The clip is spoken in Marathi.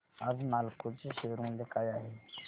आज नालको चे शेअर मूल्य काय आहे